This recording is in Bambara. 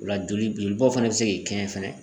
O la joli jolibɔ fɛnɛ bɛ se k'i kɛɲɛ fɛnɛ